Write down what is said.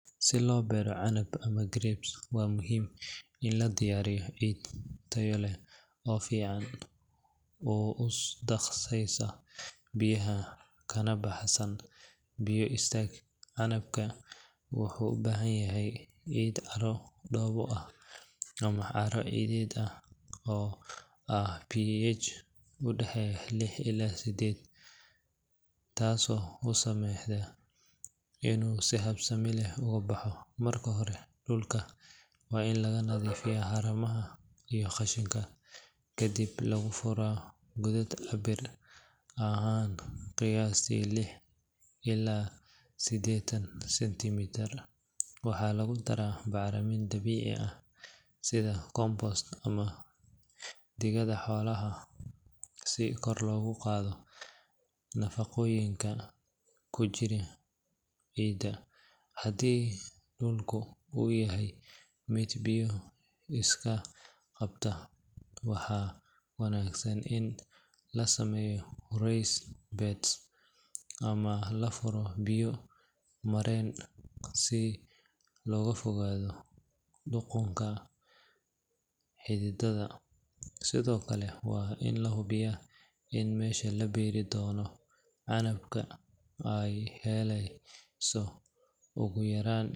Si loo beero canab ama grapes waa muhiim in la diyaariyo ciid tayo leh oo si fiican u daaqaysa biyaha kana baxsan biyo istaag. Canabka wuxuu u baahan yahay ciid carro-dhoobo ah ama carro-ciideed ah oo leh pH u dhexeeya lix illaa toddobo, taasoo u saamaxaysa inuu si habsami leh ugu baxo. Marka hore dhulka waa in laga nadiifiyaa haramaha iyo qashinka, kadibna lagu furaa godad cabbir ahaan qiyaastii lixdan illaa siddeetan sentimitir. Waxaa lagu daraa bacriminta dabiiciga ah sida compost ama digada xoolaha si kor loogu qaado nafaqooyinka ku jira ciidda. Haddii dhulku uu yahay mid biyo iska qabta, waxaa wanaagsan in la sameeyo raised beds ama la furo biyo mareen si looga fogaado qudhunka xididdada. Sidoo kale waa in la hubiyaa in meesha la beeri doono canabka ay helayso ugu yaraan.